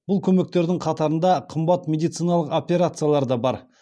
бұл көмектердің қатарында қымбат медициналық операциялар да бар